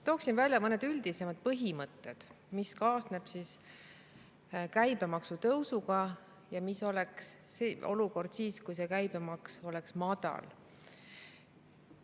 Tooksin välja mõned üldisemad põhimõtted, mis kaasneb käibemaksu tõusuga, ja milline oleks olukord siis, kui käibemaks oleks madal.